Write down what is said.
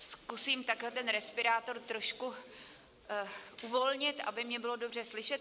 Zkusím takhle ten respirátor trošku uvolnit, aby mě bylo dobře slyšet.